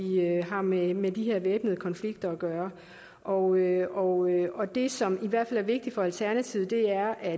har med med de her væbnede konflikter at gøre og og det som i hvert fald er vigtigt for alternativet er at